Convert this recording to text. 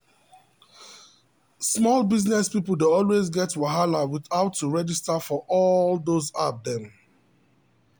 small business people dey always get wahala with how to registar for all those app dem.